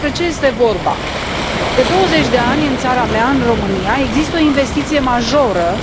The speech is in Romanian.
Despre ce este vorba de douăzeci de ani, în țara mea, în România, există o investiție majoră